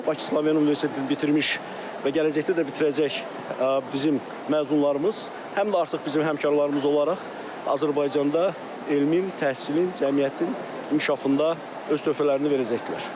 Bakı Slavyan Universitetini bitirmiş və gələcəkdə də bitirəcək bizim məzunlarımız həm də artıq bizim həmkarlarımız olaraq Azərbaycanda elmin, təhsilin, cəmiyyətin inkişafında öz töhfələrini verəcəklər.